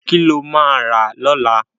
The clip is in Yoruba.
Kí lo máa rà lọ́la?